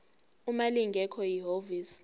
uma lingekho ihhovisi